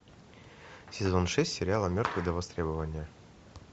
сезон шесть сериала мертвый до востребования